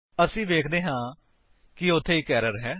ਅਸੀ ਵੇਖਦੇ ਹਾਂ ਕਿ ਉੱਥੇ ਇੱਕ ਏਰਰ ਹੈ